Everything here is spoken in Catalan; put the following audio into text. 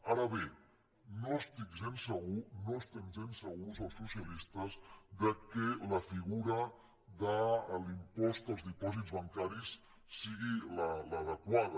ara bé no estic gens segur no estem gens segurs els socialistes que la figura de l’impost als dipòsits bancaris sigui l’adequada